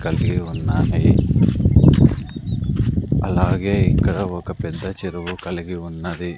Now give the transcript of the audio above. కలిగి ఉన్నది అలాగే ఇక్కడ ఒక పెద్ద చెరువు కలిగి ఉన్నది.